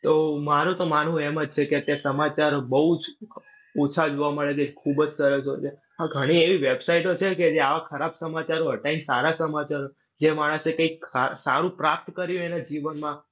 તો મારુ તો માનવું એમ જ છે કે અત્યારે સમાચારો બઉ જ ઓછા જોવા મળે છે. ખુબ જ સરસ હોય છે. હા ઘણી એવી website ઓ છે કે જે આવા ખરાબ સમાચારો હતાય ને સારા સમાચારો જે માણસે કંઈક સારું પ્રાપ્ત કર્યું એના જીવનમાં.